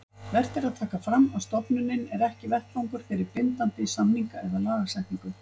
Vert er að taka fram að stofnunin er ekki vettvangur fyrir bindandi samninga eða lagasetningu.